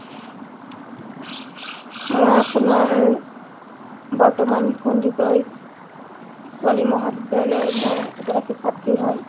মই আপোনাৰ বৰ্তমান সন্দিকৈ ছোৱালী মহাবিদ্যালয়ৰ মই এগৰাকী ছাত্ৰী হয়